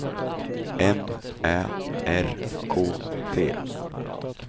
M Ä R K T